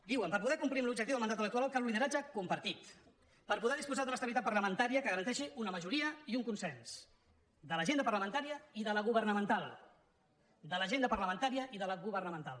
diuen per poder complir amb l’objectiu del mandat electoral cal un lideratge compartit per poder disposar d’una estabilitat parlamentària que garanteixi una majoria i un consens de l’agenda parlamentària i de la governamental de l’agenda parlamentària i de la governamental